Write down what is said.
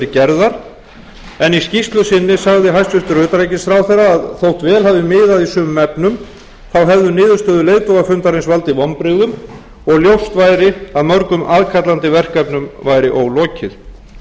gerðar en í skýrslu sinni sagði hæstvirtur utanríkisráðherra að þótt vel hafi miðað í sumum efnum hefðu niðurstöður leiðtogafundarins valdið vonbrigðum og ljóst væri að mörgum aðkallandi verkefnum væri ólokið mér sýndist reyndar á